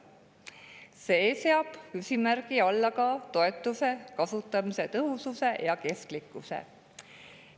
See seab küsimärgi alla toetuse kasutamise tõhususe ja kestlikkuse.